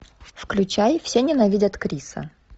включай все ненавидят криса